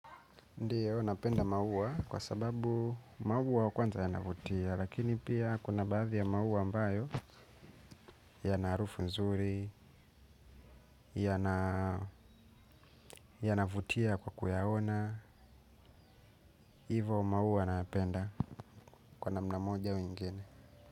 Ndiyo napenda maua kwa sababu maua kwanza yanavutia lakini pia kuna baadhi ya maua ambayo yan harufu nzuri yanavutia kwa kuyaona hivo maua nayapenda. Kwa namna moja au ingine.